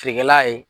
Feerekɛla ye